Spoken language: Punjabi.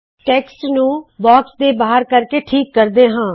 ਟੈੱਕਸਟ ਨੂੰ ਬਾਕਸ ਦੇ ਬਾਹਰ ਕਰਕੇ ਠੀਕ ਕਰਦੇ ਹਾ